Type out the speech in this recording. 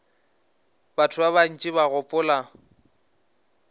batho ba bantši ba gopola